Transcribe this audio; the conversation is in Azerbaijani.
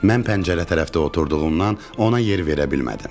Mən pəncərə tərəfdə oturduğumdan ona yer verə bilmədim.